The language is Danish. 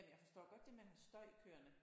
Ja men jeg forstår godt det med at have støj kørende